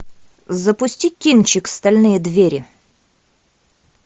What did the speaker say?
запусти кинчик стальные двери